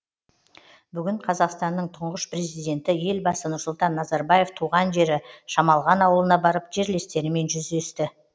бүгін қазақстанның тұңғыш президенті елбасы нұрсұлтан назарбаев туған жері шамалған ауылына барып жерлестерімен жүздесті